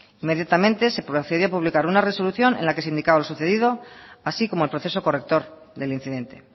inmediatamente se procedía a publicar una resolución en la que se indicaba lo sucedido así como el proceso corrector del incidente